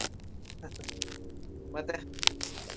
ಮತ್ತೆ?